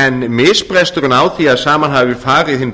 en misbresturinn á því að saman hafi farið hinn